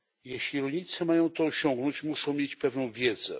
Jeśli rolnicy mają to osiągnąć, muszą mieć pewną wiedzę.